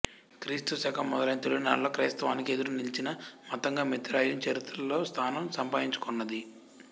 క్రీస్తు శకం మొదలైన తొలి నాళ్లలో క్రైస్తవానికి ఎదురు నిలచిన మతంగా మిత్రాయిజం చరిత్రలో స్థానం సంపాదించుకొన్నది